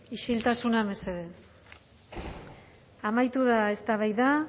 isiltasuna mesedez amaitu da eztabaida